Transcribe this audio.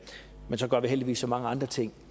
så gør vi heldigvis så mange andre ting